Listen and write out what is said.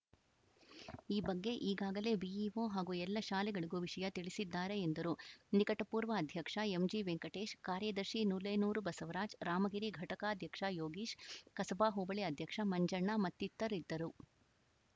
ಈ ಬಗ್ಗೆ ಈಗಾಗಲೇ ಬಿಇಒ ಹಾಗೂ ಎಲ್ಲ ಶಾಲೆಗಳಿಗೂ ವಿಷಯ ತಿಳಿಸಿದ್ದಾರೆ ಎಂದರು ನಿಕಟಪೂರ್ವ ಅಧ್ಯಕ್ಷ ಎಂಜಿವೆಂಕಟೇಶ್‌ ಕಾರ್ಯದರ್ಶಿ ನುಲೇನೂರು ಬಸವರಾಜ್‌ ರಾಮಗಿರಿ ಘಟಕಾಧ್ಯಕ್ಷ ಯೋಗೀಶ್‌ ಕಸಬಾ ಹೋಬಳಿ ಅಧ್ಯಕ್ಷ ಮಂಜಣ್ಣ ಮತ್ತಿತರರಿದ್ದರು